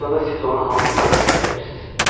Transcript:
Bəs onda siz onu hansı mənada işlədirdiniz?